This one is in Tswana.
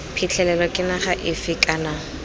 phitlhelelo ke naga efe kana